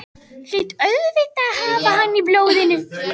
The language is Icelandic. Hlýt auðvitað að hafa hann í blóðinu.